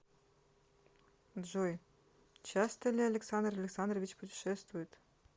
джой часто ли александр александрович путешествует